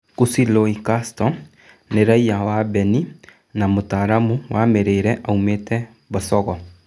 Kũci Lui Kasto nĩ raiya wa Beni na mũtaramu wa mĩrĩre aumĩte Bocogo ".